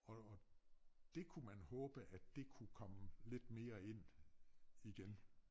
Og og dét kunne man håbe at det kunne komme lidt mere ind igen